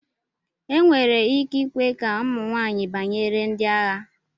enwere ike ikwe ka ụmụ nwanyị banyere ndi agha